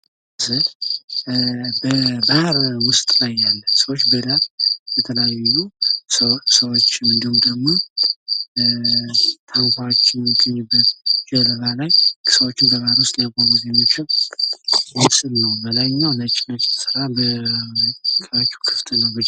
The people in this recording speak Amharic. ይህ ምስል በባህር ዉስጥ ያሉ ሰዎች በጣም የተለያዩ ሰዎችንና እንዲሁም ደግሞ ታንኳ የሚገኝበት ጀልባ ላይ ሰዎችን በባህር ዉስጥ ሊያጓጉዝ የሚችል ነው በላይኛው ነጭ ነጭ የተሰራ የታቹ ክፍት ነው።